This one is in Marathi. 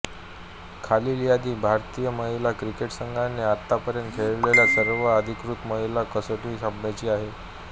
खालील यादी भारतीय महिला क्रिकेट संघाने आतापर्यंत खेळलेल्या सर्व अधिकृत महिला कसोटी सामन्यांची आहे